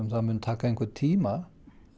það muni taka einhvern tíma